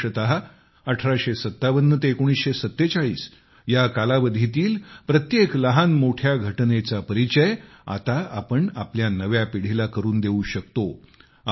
विशेषतः 1857 ते 1947 या कालावधीतील प्रत्येक लहानमोठ्या घटनेचा परिचय आता आपण आपल्या नव्या पिढीला करून देऊ शकतो